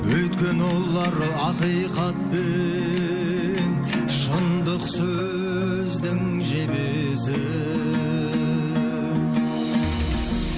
өйткені олар ақиқат пен шындық сөздің жебесі